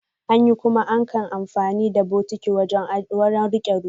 Anyi, kuma ankan amfani da bokitti don rike ruwa.